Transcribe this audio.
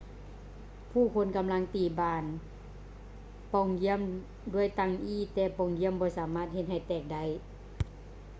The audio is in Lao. ຜູ້ຄົນກຳລັງຕີບານປ່ອງຢ້ຽມດ້ວຍຕັ່ງອີ້ແຕ່ປ່ອງຢ້ຽມບໍ່ສາມາດເຮັດໃຫ້ແຕກໄດ້